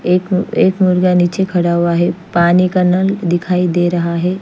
एक एक मुर्गा निचे खड़ा हुआ है पानी का नल दिखाई दे रहा है।